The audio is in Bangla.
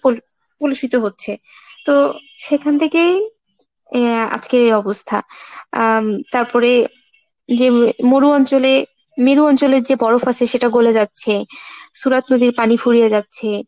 পলি পুলোষিত হচ্ছে, তো সেখান থেকেই আহ আজকে এই অবস্থা। উম তারপরে যে মরু অঞ্চলে মেরু অঞ্চলের যে বরফ আছে সেটা গলে যাচ্ছে, Surat নদীর পানি ফুরিয়ে যাচ্ছে।